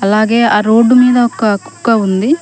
అలాగే ఆ రోడ్డు మీద ఒక కుక్క ఉంది.